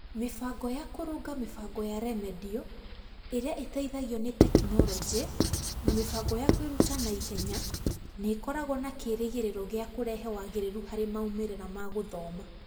Mĩbango ya kũrũnga mĩbango ya remediũ ĩrĩa ĩteithagio nĩ tekinoronjĩ na mĩbango ya kwĩruta na ihenya nĩ ĩkoragwo na kĩĩrĩgĩrĩro gĩa kũrehe wagĩrĩru harĩ maumĩrĩra ma gũthoma.